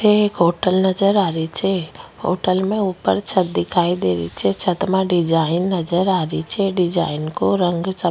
अठ एक होटल नजर आरो छे होटल में ऊपर छत दिखाई दे री छे छत में डिजाइन नजर आ री छे डिजाइन को रंग सफेद --